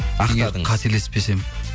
қателеспесем